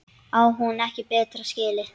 Á hún ekki betra skilið?